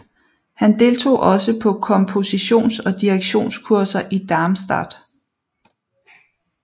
Han deltog også på kompositions og direktionskurser i Darmstadt